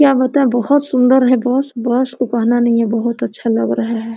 क्या बताये बहुत सुन्दर है बहुत अच्छा लग रहा है।